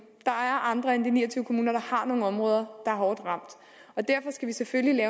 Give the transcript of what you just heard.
er andre end de ni og tyve kommuner der har nogle områder er hårdt ramt og derfor skal vi selvfølgelig